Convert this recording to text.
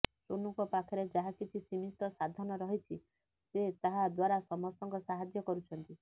ସୋନୁଙ୍କ ପାଖରେ ଯାହା କିଛି ସୀମିତ ସାଧନ ରହିଛି ସେ ତାହା ଦ୍ବାରା ସମସ୍ତଙ୍କ ସାହାଯ୍ୟ କରୁଛନ୍ତି